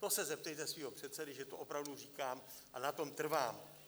To se zeptejte svého předsedy, že to opravdu říkám, a na tom trvám.